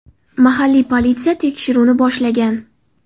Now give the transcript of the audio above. Mahalliy politsiya tekshiruvni boshlagan.